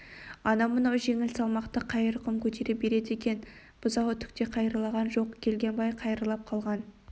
анау-мынау жеңіл салмақты қайыр құм көтере береді екен бұзауы түк те қайырлаған жоқ келгенбай қайырлап қалған